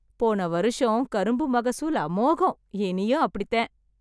போன வருஷம் கரும்பு மகசூல் அமோகம்! இனியும் அப்படித்தே .